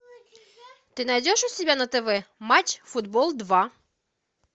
ты найдешь у себя на тв матч футбол два